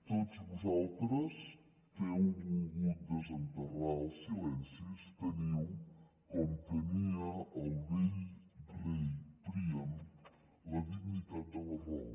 tots vosaltres que heu volgut desenterrar els silencis teniu com tenia el vell rei príam la dignitat de la raó